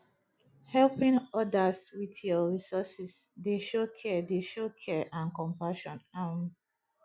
helping odas with yur resources dey show care dey show care and compassion um